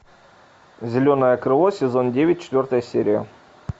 зеленое крыло сезон девять четвертая серия